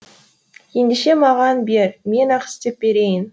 ендеше маған бер мен ақ істеп берейін